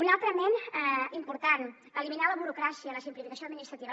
un altre element important eliminar la burocràcia la simplificació administrativa